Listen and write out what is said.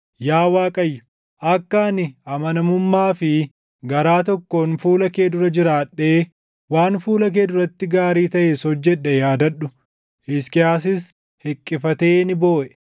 “Yaa Waaqayyo, akka ani amanamummaa fi garaa tokkoon fuula kee dura jiraadhee waan fuula kee duratti gaarii taʼes hojjedhe yaadadhu.” Hisqiyaasis hiqqifatee ni booʼe.